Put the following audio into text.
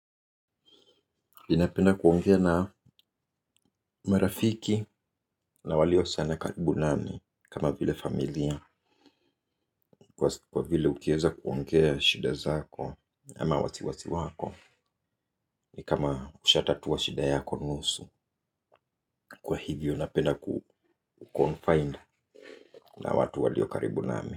Ninapenda kuongea na marafiki na walio sana karibu nami kama vile familia kwa vile ukiweza kuongea shida zako ama wasiwasi wako ni kama ushatatua shida yako nusu kwa hivyo napenda kuconfide na watu walio karibu nami.